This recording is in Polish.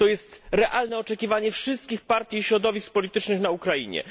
To jest realne oczekiwanie wszystkich partii i środowisk politycznych na Ukrainie.